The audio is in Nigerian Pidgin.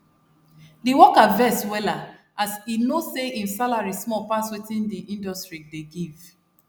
d worker vex wella as e know say im salary small pass wetin d industry dey give